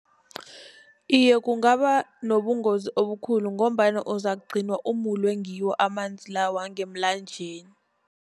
Iye, kungaba nobungozi obukhulu, ngombana uzakugcina umulwe ngiwo amanzi la wangemlanjeni.